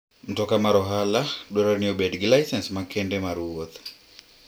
Mtoka mar ohala dwarore ni obed gi lisens makende mar wuoth.